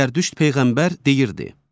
Zərdüşt peyğəmbər deyirdi: